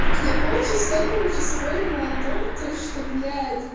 я полчаса короче спорила о том то что блять